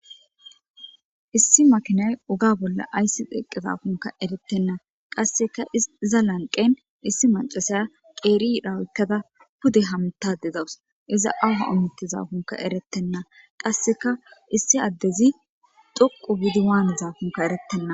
issi makinay uga bolla ayssi deqqe zaafunka eretenna qasseka iza lanqen issi macasaya qeeridhawykkada pude hamtade dawus iza awha omitti zaafunka erettenna qasseka issi addezi dhoqu bidiwaan zaafunka erettenna